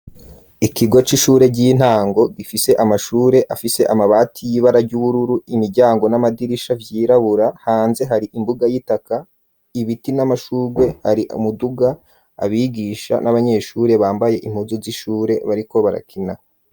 Ikigo c'ishure ry'intango gifise amashure afise amabati y'ibara ry'ubururu, imiryango n'amadirisha vyirabura, hanze hari imbuga y'itaka, ibiti n'amashurwe, hari umuduga, abigisha n'abanyeshure bambaye impuzu z'ishure bariko barakina.